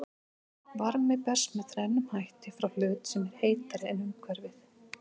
Varmi berst með þrennum hætti frá hlut sem er heitari en umhverfið.